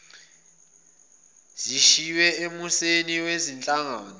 zishiywe emuseni wezinhlangano